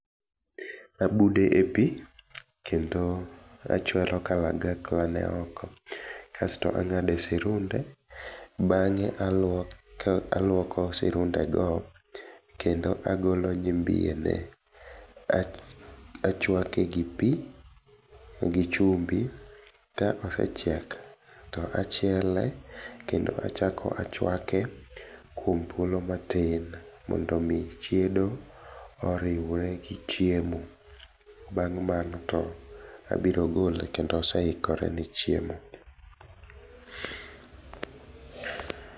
Abude e pi kendo achwero kalagakla ne oko kasto ang'ade sirude bange aluoko sirunde go kendo agolo nyimbiye ne, achuake gi pi gi chumbi, ka osechiek to achiele kendo achako achuake kuom thulo matin mondo mi chiedo oriwre gi chiemo bang' mano to abiro gole kendo oseikore ni chiemo